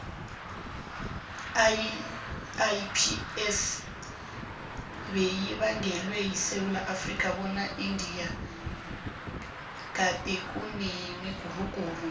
iipl beyibangwele esewula afrika ngoba eindia gadekunemiguruguru